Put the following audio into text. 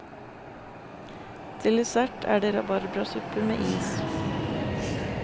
Til dessert er det rabarbrasuppe med is.